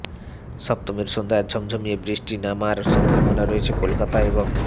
সপ্তমীর সন্ধ্যায় ঝমঝমিয়ে বৃষ্টি নামার সম্ভাবনা রয়েছে কলকাতা এবং